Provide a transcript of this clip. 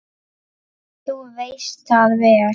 Þú veist það vel!